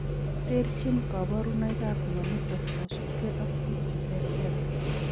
Terchin kaborunoikap mionitok kosubkei ak biik cheterter